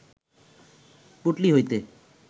পুঁটলি হইতে